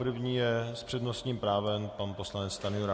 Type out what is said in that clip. První je s přednostním právem pan poslanec Stanjura.